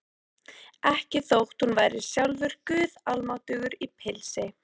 Ekki þótt hún væri sjálfur guð almáttugur í pilsi.